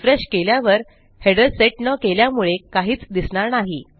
refresh केल्यावर header set न केल्यामुळे काहीच दिसणार नाही